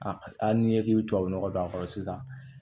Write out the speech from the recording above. hali n'i ko k'i bɛ tubabu nɔgɔ don a kɔrɔ sisan